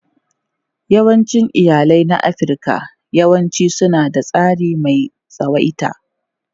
Yawancin iyalai na Afirka yawanci suna da tsari mai tsawaita.